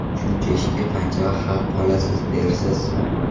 Shuncha ishga qancha haq oladi, dersiz.